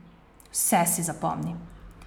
Vse si zapomni.